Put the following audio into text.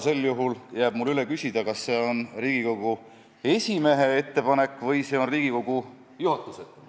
Sel juhul jääb mul üle küsida, kas see on Riigikogu esimehe ettepanek või Riigikogu juhatuse ettepanek.